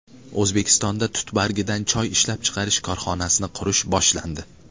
O‘zbekistonda tut bargidan choy ishlab chiqarish korxonasini qurish boshlandi.